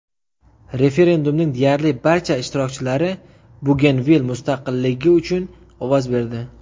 Referendumning deyarli barcha ishtirokchilari Bugenvil mustaqilligi uchun ovoz berdi.